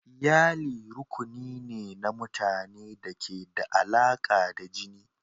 Iyali rukuni ne na mutane da ke da alaƙa ta jini.